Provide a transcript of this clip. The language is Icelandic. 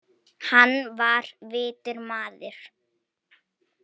Hann var vitur maður.